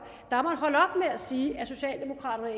med at sige at socialdemokraterne og